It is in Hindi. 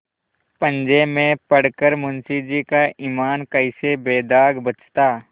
पंजे में पड़ कर मुंशीजी का ईमान कैसे बेदाग बचता